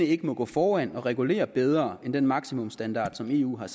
ikke gå foran og regulere bedre end den maksimumsstandard som eu har